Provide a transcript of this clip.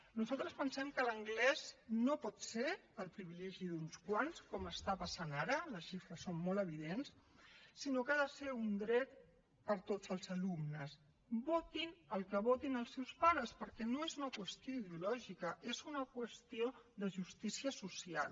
nosaltres pensem que l’anglès no pot ser el privilegi d’uns quants com està passant ara les xifres són molt evidents sinó que ha de ser un dret per a tots els alumnes votin el que votin els seus pares perquè no és una qüestió ideològica és una qüestió de justícia social